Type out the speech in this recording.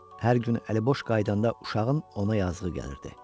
Hər gün əliboş qayıdanda uşağın ona yazığı gəlirdi.